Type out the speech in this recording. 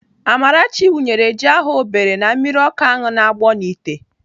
Amarachi wụnyere ji ahụ o bere na mmiri ọkụ ahụ na-agbọ n'ite.